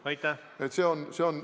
Aitäh!